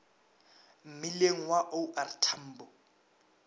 mmileng wa o r tambo